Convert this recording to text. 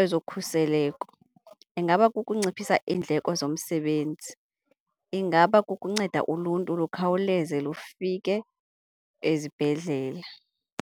ezokhuseleko, ingaba kukunciphisa iindleko zomsebenzi, ingaba kukunceda uluntu lukhawuleze lufike ezibhedlela.